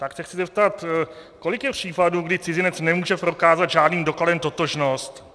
Tak se chci zeptat, kolik je případů, kdy cizinec nemůže prokázat žádným dokladem totožnost.